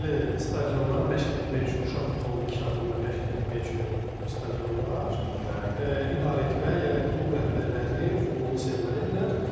Deməli, stadionlar, məşq etmək üçün, uşaq futbolun inkişafında məşq etmək üçün stadionlar idarə etmək, yəni klub rəhbərləri futbolu sevməlidirlər.